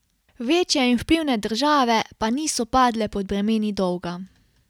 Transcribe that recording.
Večje in vplivne države, pa niso padle pod bremeni dolga.